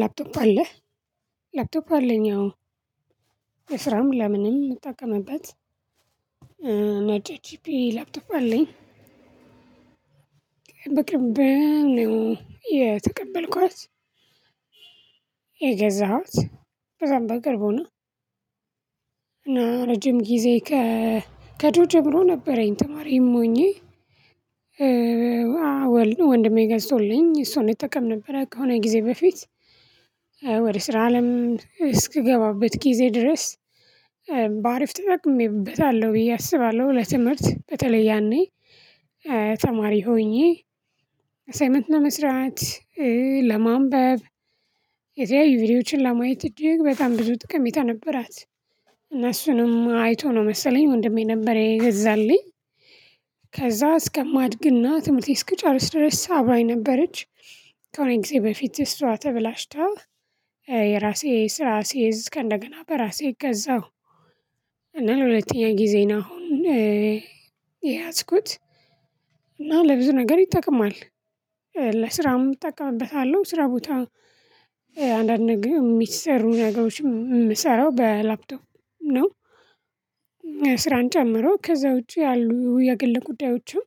ላፕቶፕ አለህ? ላፕቶፕ አለኝ አዎ ለስራም ለምንም የምጠቀምበት ነጭ ኤችፒ ላፕቶፕ አለኝ የተቀበልኳት የገዛኋት በዛም በቅርቡ ነው እና ረጅም ጊዜ ከድሮ ጀምሮ ነበረኝ ተማሪም ሆኜ ወንድሜ ገዝቶልኝ እሱን እጠቀም ነበር ከሆነ ጊዜ በፊት ወደ ስራ አለም እስክገባበት ጊዜ ድረስ በአሪፍ ተጠቅሜበታለሁ ብዬ አስባለሁ ለትምህርት በተለይ ያኔ ተማሪ ሆኜ አሳይመንት ለመስራት ለማንበብ የተያዩ ቪዲዮዎችን ለማየት እጅግ በጣም ብዙ ጥቅም የነበራት እና እሱንም አይቶ ነው መሰለኝ ወንድሜ ነበር የገዛልኝ ከዛ እስከማድግና ትምህርቴ እስክጨርስ ድረስ አብራኝ ነበረች ከሆነ ጊዜ በፊት ይሷ ተበላሽታ የራሴ ስራ ስይዝ ከእንደገና በራሴ ገዛሁ እና ለሁለተኛ ጊዜ ነው አሁን የያዝኩት እና ለብዙ ነገር ይጠቅማል ለስራም እጠቀምበታለሁ ስራ ቦታ አንዳንድ ነገር የሚሰሩ ነገሮችም የምሰራው በላፕቶፕ ነው ስራን ጨምሮ ከዛ ውጪ ያሉ የግል ጉዳዮችም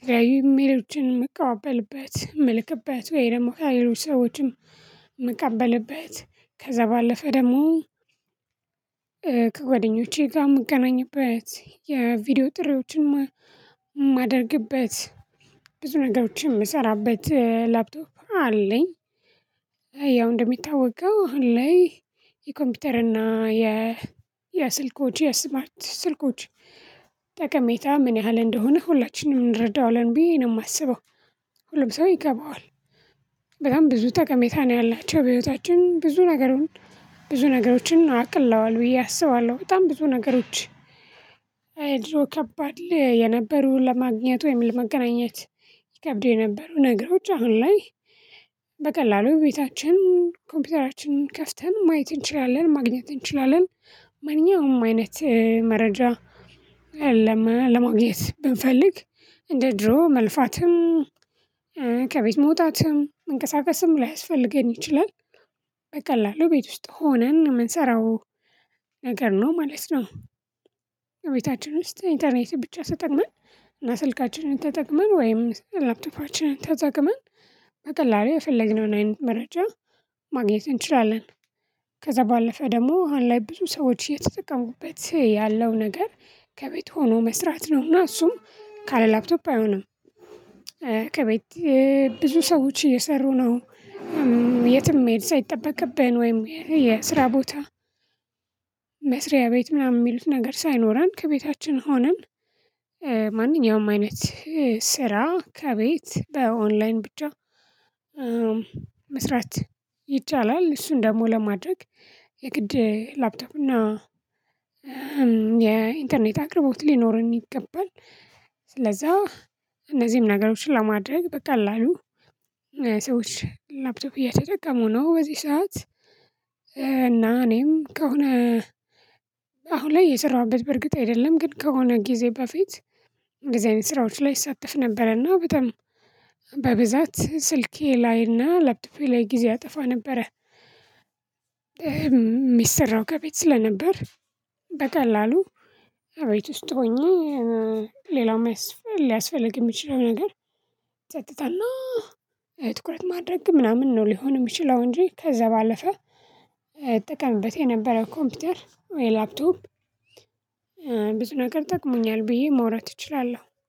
የተለያዩ ኢሜሎችም የምቀበልበት የምልክበት ወይ ደግሞ ከሌሎች ሰዎችን የምቀበልበት ከዛ ባለፈ ደግሞ ከጓደኞቼ ጋር የምገናኝበት የቪዲዮ ጥሪዎችን የማደርግበት ብዙ ነገሮችን የምሰራበት ላፕቶፕ አለኝ ያው እንደሚታወቀው አሁን ላይይ የኮምፒውተር እና የ የስልኮች የስማርት ስልኮች ጠቀሜታ ምን ያህል እንደሆነ ሁላችንም እንረዳዋል ብዬ ነው የማስበው ሁሉም ሰው ይገባዋል በጣም ብዙ ጠቀሜታ ነው ያላቸው በህይወታችን ብዙ ነገሩን ብዙ ነገሮችን አቅለዋል ብዬ አስባለሁ በጣም ብዙ ነገሮች ድሮ ከባድ ላይ የነበሩ ለማግኘት ወይም ለመገናኘት ይከብዱ የነበሩ ነገሮች አሁን ላይ በቀላሉ ቤታችን ኮምፒውተራችንን ከፍተን ማየት እንችላለን ማግኘት እንችላለን ማንኛውም አይነት መረጃ አለማ ለማግኘት ብንፈልግ እንደ ድሮ መልፋትም ከቤት መውጣትም መንቀሳቀስም ላይስፈልገን ይችላል በቀላሉ ቤት ውስጥ ሆነን የምንሰራው ነገር ነው ማለት ነው ቤታችን ውስጥ ኢንተርኔት ብቻ ተጠቅመን እና ስልካችንን ተጠቅመን ወይም ላፕቶፓችንን ተጠቅመን በቀላሉ የፈለግነውን አይነት መረጃ ማግኘት እንችላለን ከዛ ባለፈ ደግሞ አሁን ላይ ብዙ ሰዎች እየተጠቀሙበት ያለው ነገር ከቤት ሆኖ መስራት ነውና እሱም ካለ ላፕቶፕ አይሆንም ከቤት ብዙ ሰዎች እየሰሩ ነው የትም መሄድ ሳይጠበቅብኝ ወይም የስራ ቦታ መስሪያ ቤት ምናምን የሚሉት ነገር ሳይኖረን ከቤታችን ሆነን ማንኛውም አይነት ስራ ከቤት በኦንላይን ብቻ መስራት ይቻላል እሱን ደግሞ ለማድረግ የግድ ላፕቶፕ እና የኢንተርኔት አቅርቦት ሊኖርን ይገባል ስለዛ እነዚህም ነገሮችን ለማድረግ በቀላላሉ ሰዎች ላፕቶፕ እየተጠቀሙ ነው በዚህ ሰዓት እና እኔም ከሆነ አሁን ላይ እየሰራሁበት በእርግጥ አይደለም ግን ከሆነ ጊዜ በፊት እንደዚህ አይነት ስራዎች ላይ እሳተፍ ነበረና በጣም በብዛት ስልኬ ላይና ላፕቶፔ ላይ ጊዜ አጠፋ ነበረ የሚሰራው ከቤት ስለነበር በቀላሉ ቤት ውስጥ ሆኜ ሌላው ሊያስፈልግ የሚችለው ነገር ጸጥታና ትኩረት ማድረግ ምናምን ነው ሊሆን የሚችለው እንጂ ከዛ ባለፈ እጠቀምበት የነበረው ኮምፒውተር ወይ ላፕቶፕ ብዙ ነገር ጠቅሞኛል ብዬ መውራት እችላለሁ